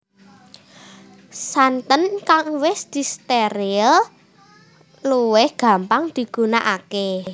Santen kang wis distéril luwih gampang digunakaké